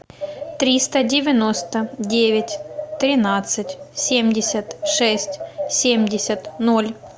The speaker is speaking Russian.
триста девяносто девять тринадцать семьдесят шесть семьдесят ноль